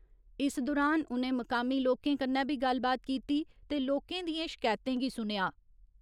इस दुरान उ'नें मुकामी लोकें कन्नै बी गल्लबात कीती ते लोकें दियें शकैतें गी सुनेआ।